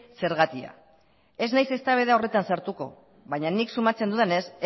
zergatia ez naiz eztabaida horretan sartuko baina nik sumatzen dudanez